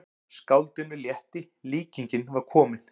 Skáldinu létti, líkingin var komin.